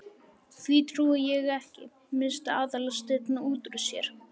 Því trúi ég ekki- missti Aðalsteinn út úr sér.